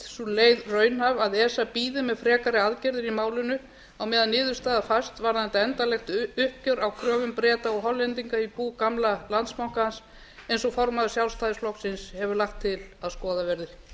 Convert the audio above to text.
sú leið reynist raunhæf að esa bíði með frekari aðgerðir í málinu á meðan niðurstaða fæst varðandi endanlegt uppgjör á kröfum breta og hollendinga í bú gamla landsbankans eins og formaður sjálfstæðisflokksins hefur lagt til að skoðað verði